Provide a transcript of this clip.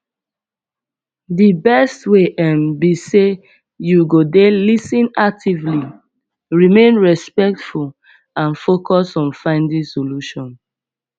di best way um be say you go dey lis ten actively remain respectful and focus on finding solution